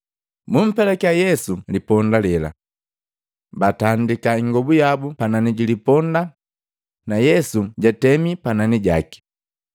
Bumpelakya Yesu liponda lela. Batandiki ingobu yabu panani jili ponda na Yesu jatemi panani jaki.